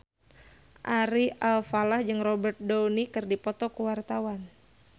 Ari Alfalah jeung Robert Downey keur dipoto ku wartawan